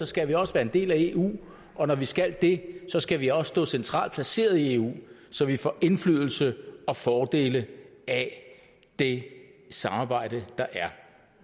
skal vi også være en del af eu og når vi skal det skal vi også stå centralt placeret i eu så vi får indflydelse og fordele af det samarbejde der er